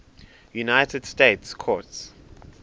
united states courts